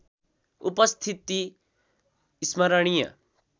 उपस्थिति स्मरणीय